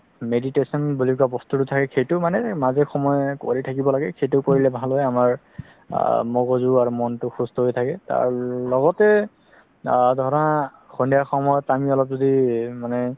meditation বুলি কোৱা বস্তুতো সেইটো মানে মাজে সময় কৰি থাকিব লাগে সেইটো কৰিলে ভাল হয় আমাৰ আ মগজু আৰু মনতো সুস্ত হয় থাকে লগতে আ ধৰা সন্ধিয়া সময় আমি অলপ যদি মানে